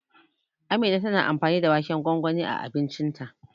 Amina tana amfani da waken gwangwani a abincinta.